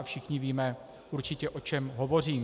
A všichni víme určitě, o čem hovořím.